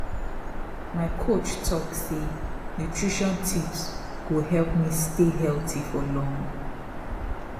my coach talk say nutrition tips go help me stay healthy for long